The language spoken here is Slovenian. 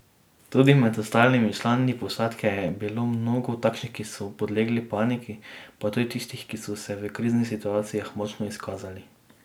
Tudi med ostalimi člani posadke je bilo mnogo takšnih, ki so podlegli paniki, pa tudi tistih, ki so se v krizni situaciji močno izkazali.